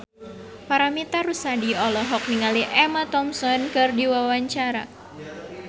Paramitha Rusady olohok ningali Emma Thompson keur diwawancara